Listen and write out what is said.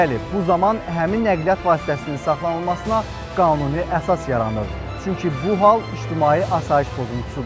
Bəli, bu zaman həmin nəqliyyat vasitəsinin saxlanılmasına qanuni əsas yaranır, çünki bu hal ictimai asayiş pozuntusudur.